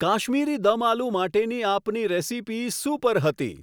કાશ્મીરી દમ આલૂ માટેની આપની recipe super હતી